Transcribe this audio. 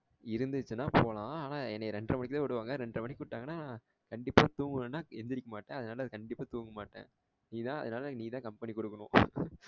இருந்துச்சின்னா போலாம் ஆனா என்னைய இரண்டற மணிக்குத்தான் விடுவாங்க இரண்டற மணிக்கு விட்டாங்கன்னா கண்டிப்பா தூங்கலனா எந்திரிக்க மாட்டேன் அதுனால கண்டிப்பா தூங்க மாட்டேன் நீதான் அதுனால நீதான் company குடுக்கணும்